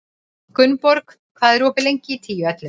Gunnborg, hvað er opið lengi í Tíu ellefu?